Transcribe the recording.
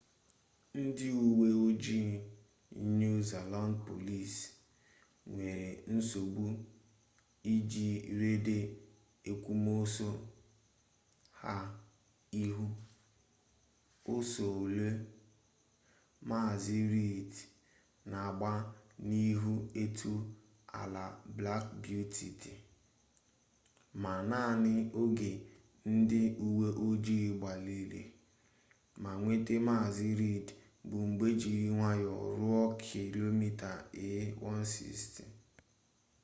ndị uwe ojii new zealand police nwere nsogbu iji reda èkwòmọsọ ha ịhụ ọsọ ole maazị reid na-agba n’ihi etu ala black beauty dị ma naanị oge ndị uwe ojii gbalịrị ma nweta maazị reid bụ mgbe jiri nwayọọ ruo km/a160